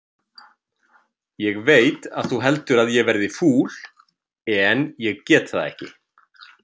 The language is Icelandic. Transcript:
Ég veit að þú heldur að ég verði fúl, en ég get það ekki.